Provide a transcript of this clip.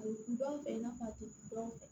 A bɛ dɔn fɛ i n'a fɔ a tɛ dɔn